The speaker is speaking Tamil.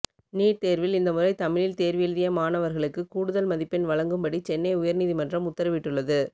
நீட் தேர்வில் இந்த முறை தமிழில் தேர்வு எழுதிய மாணவர்களுக்குக் கூடுதல் மதிப்பெண் வழங்கும்படி சென்னை உயர் நீதிமன்றம் உத்தரவிட்டுள்ளது